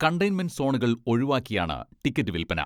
Containment സോണുകൾ ഒഴിവാക്കിയാണ് ticket വിൽപ്പന.